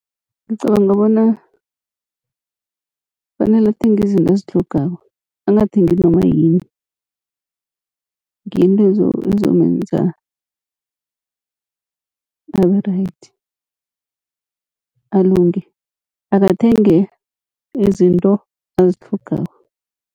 Ngicabanga bona kufanele athenge izinto azitlhogako, angathengi noma yini ngiyo into ezomenza abe right alunge. Akathenge izinto azitlhogako.